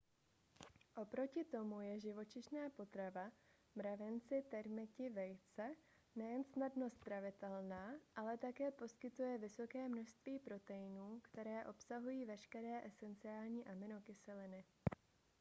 oproti tomu je živočišná potrava mravenci termiti vejce nejen snadno stravitelná ale také poskytuje vysoké množství proteinů které obsahují veškeré esenciální aminokyseliny